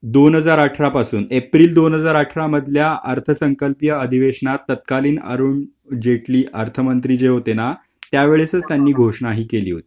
दोन हजार अठरा पासून एप्रिल दोन हजार अठरा मधल्या अर्थ संकल्पिय अधिवेशनात तत्कालीन अरुण जेटली अर्थमंत्रि जे होतेना त्यावेळेस त्यांनी घोषणा हि केली होती .